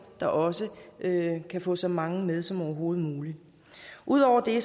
der også kan få så mange med som overhovedet muligt ud over det